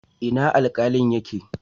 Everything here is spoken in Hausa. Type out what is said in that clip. Ina Alkalin yake?